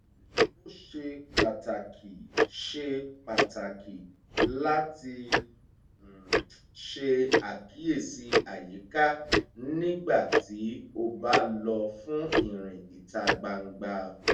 ó ṣe pàtàkì ṣe pàtàkì láti ṣe àkíyèsí àyíká nígbà tí ó bá lọ fún ìrìn ìta gbangba